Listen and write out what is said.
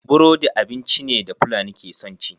Burodi abinci ne da fulani ke son ci.